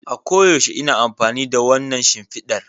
A koyaushe ina amfani da wannan shimfidar